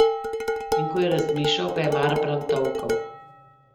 In ko je razmišljal, ga je Marbrand tolkel.